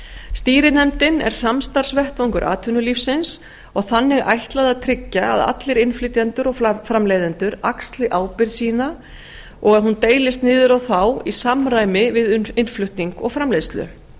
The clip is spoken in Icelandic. stýrinefndin er samstarfsvettvangur atvinnulífsins og þannig ætlað að tryggja að allir innflytjendur og framleiðendur axli ábyrgð sína og hún deilist niður á þá í samræmi við innflutning og framleiðslu